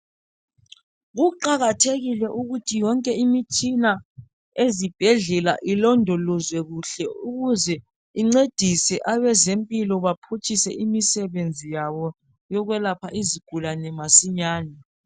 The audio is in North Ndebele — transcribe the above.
Kuqakathekile ukuthi yonke imitshina ezibhedlela ilondolozwe kuhle ukwenzela ukuze incedise abezempilo baphutshise imisebenzi yabo yokwelapha izigulane masinyane